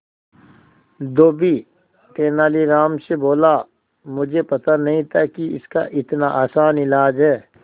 धोबी तेनालीराम से बोला मुझे पता नहीं था कि इसका इतना आसान इलाज है